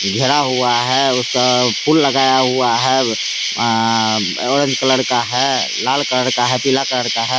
घेरा हुआ है अ उसका फूल लगाया हुआ है। अ ऑरेंज कलर का है। लाल कलर का है। पीला कलर का है।